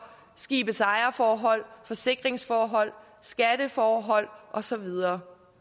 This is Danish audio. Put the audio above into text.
skibets ejerforhold forsikringsforhold skatteforhold og så videre